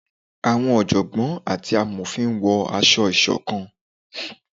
awọn ọjọgbọn ati awọn àmofín wọ aṣọ-isokan